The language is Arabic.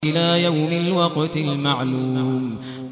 إِلَىٰ يَوْمِ الْوَقْتِ الْمَعْلُومِ